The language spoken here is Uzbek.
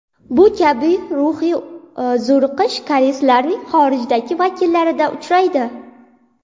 Bu kabi ruhiy zo‘riqish koreyslarning xorijdagi vakillarida uchraydi.